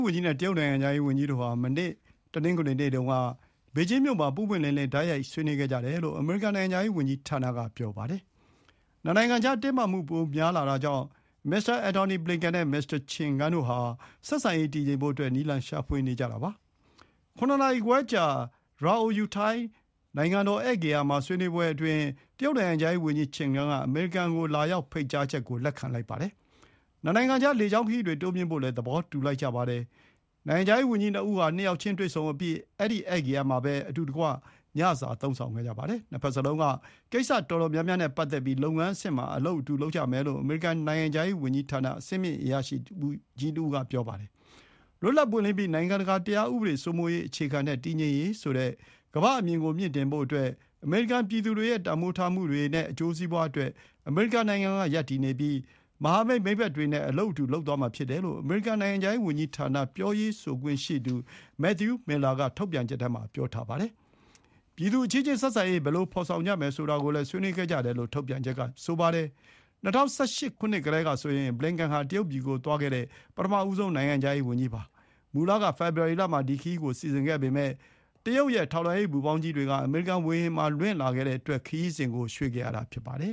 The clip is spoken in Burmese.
ဝန်ကြီးနဲ့ တရုတ်နိုင်ငံခြားရေးဝန်ကြီးတို့ဟာ မနေ့တနင်္ဂနွေနေ့တုန်းက ဘေကျင်းမြို့ မှာ ပွင့်ပွင့်လင်းလင်း တိုက်ရိုက်ဆွေးနွေးခဲ့ကြတယ်လို့ အမေရိကန် နိုင်ငံခြားရေးဝန်ကြီးဌာန က ပြောပါတယ်။ နှစ်နိုင်ငံကြား တင်းမားမှုပိုများလာတာကြောင့် မစ္စတာ အန်တိုနီ ဘလင်ကန် နဲ့ မစ္စတာ ချင်ဂန်းတို့ ဟာ ဆက်ဆံရေး တည်ငြိမ်ဖို့ နည်းလမ်းရှာဖွေနေကြတာပါ။ ၇ နာရီခွဲကြာ ဒြာအိုယုထိုင်း နိုင်ငံတော်ဧည့်ဂေဟာမှာ ဆွေးနွေးပွဲအတွင်းတရုတ် နိုင်ငံခြားရေးဝန်ကြီး ချင်ဂန်းက အမေရိကန် ကို လာရောက်ဖို့ ဖိတ်ကြားချက် ကို လက်ခံလိုက်ပါတယ်။ နှစ်နိုင်ငံကြား လေကြောင်းခရီးတွေ တိုးမြှင့်ဖို့လည်း သဘောတူညီလိုက်ကြပါတယ်။ နိုင်ငံခြားရေးဝန်ကြီးနှစ်ဦး ဟာ နှစ်ယောက်ချင်းတွေ့ဆုံအပြီး အဲဒီဧည့်ဂေဟာမှာပဲ အတူတကွညစာစားသုံးခဲ့ကြပါတယ်။ နှစ်ဘက်စလုံး က ကိစ္စတော်တော်များများနဲ့ ပတ်သက်ပြီး လုပ်ငန်းအဆင့်မှာအလုပ်အတူလုပ်ကြမယ်လို့ အမေရိကန် နိုင်ငံခြားရေးဝန်ကြီးဌာန အဆင့်မြင့်အရာရှိကြီးတစ်ဦးက ဆိုပါတယ်။ လွတ်လပ်ပွင့်လင်းပြီး နိုင်ငံတကာတရားဥပဒေစိုးမိုးရေး အခြေခံတဲ့တည်ငြိမ်ရေးဆိုတဲ့ ကမ္ဘာ့အမြင် ကို မြှင့်တင်ဖို့ အမေရိကန်ပြည်သူတွေရဲ့တန်ဖိုးထားမှုတွေနဲ့ အကျိုးစီးပွါးအတွက် အမေရိကန်နိုင်ငံက ရပ်တည်ပြီး မဟာမိတ်၊ မိတ်ဘက်တွေနဲ့ အလုပ်အတူလုပ်သွားမှာဖြစ်တယ်လို့ အမေရိကန် နိုင်ငံခြားရေး ဝန်ကြီးဌာန ပြောရေးဆိုခွင့်ရှိသူ Matthew Miller က ထုတ်ပြန်ချက်ထဲမှာ ပြောထားပါတယ်။ ပြည်သူအချင်းချင်းဆက်ဆံရေး ဘယ်လို ဖော်ဆောင်ကြမယ်ဆိုတာကိုလည်း ဆွေးနွေးခဲ့ကြတယ်လို့ ထုတ်ပြန်ချက်က ဆိုပါတယ်။ ၂၀၁၈ ခုနှစ်ကတည်းက ဆိုရင် ဘလင်ကန်ဟာ တရုတ်ပြည် ကို သွားတဲ့ ပထမဆုံး နိုင်ငံခြားရေး ဝန်ကြီးပါ။ မူလ က ဖေဖော်ဝါရီ လမှာဒီခရီးကိုစီစဥ်ခဲ့ပေမဲ့ တရုတ်ရဲ့ ထောက်လှမ်းရေး ပူဖောင်းကြီးတွေ အမေရိကန် ဝေဟင် မှာ လွှင့်လာခဲ့တဲ့အတွက် ခရီးစဥ် ကို ရွှေ့ဆိုင်းခဲ့တာဖြစ်ပါတယ်။